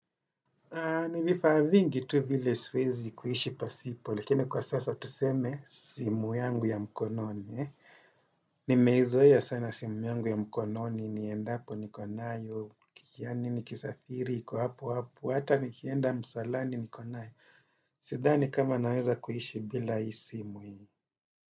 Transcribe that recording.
Ni vifaa vingi tu vile siwezi kuishi pasipo, lakini kwa sasa tuseme simu yangu ya mkononi. Nimeizoea sana simu yangu ya mkononi, niendapo niko nayo, yani nikisafiri, iko hapo hapo, hata nikienda msalani niko nayo. Sidhani kama naweza kuishi bila i simu i.